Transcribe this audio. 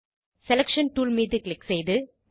selection tool மீது click செய்து